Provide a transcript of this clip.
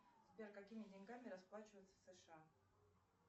сбер какими деньгами расплачиваются в сша